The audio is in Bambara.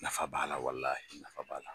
Nafa b'a la walaye nafa b'a la.